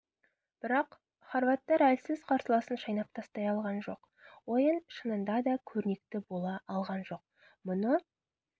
бірақ хорваттар әлсіз қарсыласын шайнап тастай алған жоқ ойын шынында да көрнекті бола алған жоқ мұны